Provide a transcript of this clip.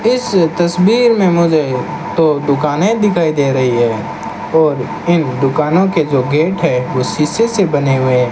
इस तस्वीर में मुझे दो दुकानें दिखाई दे रही है और इन दुकानों के जो गेट हैं वो शीशे से बने हुए --